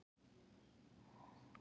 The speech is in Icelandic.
Orð mín rjúfa dansinn.